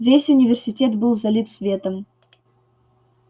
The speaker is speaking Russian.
весь университет был залит светом